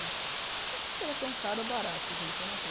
Não sei se era tão caro ou barato, gente, eu não sei.